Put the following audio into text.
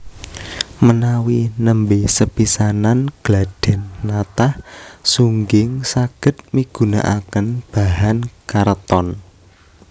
Menawi nembé sepisanan gladhèn natah sungging saged migunakaken bahan karton